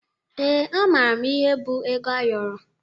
Ee, amara m ihe bụ ego ayọrọ